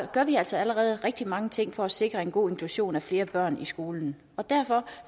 gør vi altså allerede rigtig mange ting for at sikre en god inklusion af flere børn i skolen og derfor